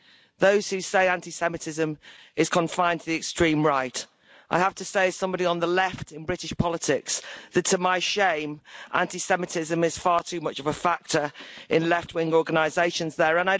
To those who say anti Semitism is confined to the extreme right, I have to say as somebody on the left in British politics that, to my shame, anti Semitism is far too much of a factor in left wing organisations there.